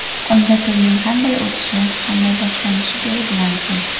Unda to‘yning qanday o‘tishi, qanday boshlanishi belgilansin.